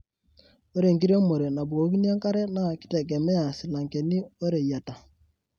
Ore enkiremore nabukokini enkare naa kitegemea silangeni woreyiata.